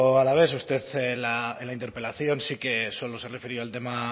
alavés usted en la interpelación sí que solo se ha referido al tema